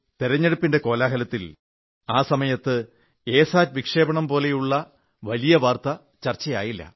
തിരഞ്ഞെടുപ്പിന്റെ കോലാഹലത്തിൽ ആ സമയത്ത് എ സാറ്റ് വിക്ഷേപണം പോലുള്ള വലിയ വാർത്ത ചർച്ചയായില്ല